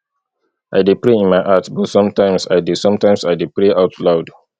i dey pray in my heart but sometimes i dey sometimes i dey pray out loud